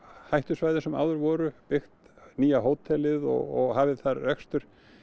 hættusvæðum sem áður voru byggt nýja hótelið og hafið þar rekstur